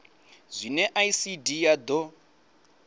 zwine icd ya d o